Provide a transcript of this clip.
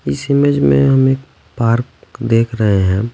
इस इमेज में हम एक पार्क देख रहे हैं।